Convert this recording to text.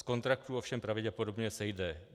Z kontraktů ovšem pravděpodobně sejde.